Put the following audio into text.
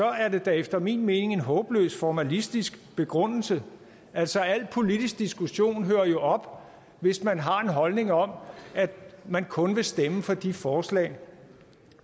er det da efter min mening en håbløst formalistisk begrundelse altså al politisk diskussion hører jo op hvis man har en holdning om at man kun vil stemme for de forslag